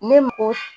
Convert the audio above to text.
Ne mɔ